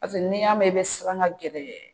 Paseke n'i y'a mɛn i bɛ siran ka gɛlɛn